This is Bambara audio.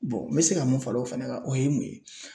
n bɛ se ka mun far'o fɛnɛ kan o ye mun ye